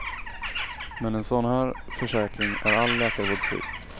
Med en sådan här försäkring är all läkarvård fri.